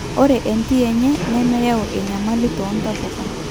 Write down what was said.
ore entii enye nemeyau enyamali toontapuka